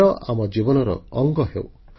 ଖେଳ ଆମ ଜୀବନର ଅଙ୍ଗ ହେଉ